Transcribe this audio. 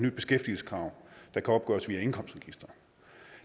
et beskæftigelseskrav der kan opgøres via indkomstregistret